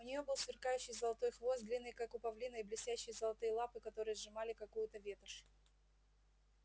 у неё был сверкающий золотой хвост длинный как у павлина и блестящие золотые лапы которые сжимали какую-то ветошь